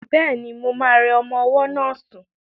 Bẹ́ẹ̀ni, mo ma rẹ ọmọ ọwọ́ náà sún